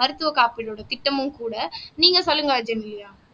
மருத்துவ காப்பீடோட திட்டமும் கூட நீங்க சொல்லுங்க ஜெனிலியா